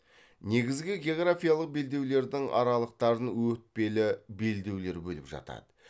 негізгі географиялық белдеулердің аралықтарын өтпелі белдеулер бөліп жатады